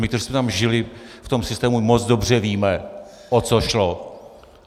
My, kteří jsme tam žili v tom systému, moc dobře víme, o co šlo.